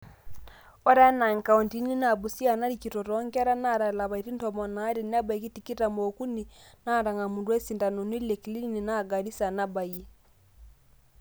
ore enaa inkauntini naa busia narikito toonkera naata lapaitin tomon aare nebaiki tikitam ookuni naatang'amutua isindanoni le clinic naa garisa nabayie